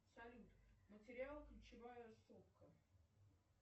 салют материал ключевая сопка